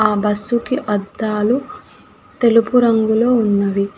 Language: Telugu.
ఆ బస్సు కి అద్దాలు తెలుపు రంగులో ఉన్నవి.